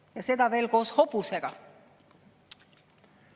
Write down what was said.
Ja seda veel koos hobusega.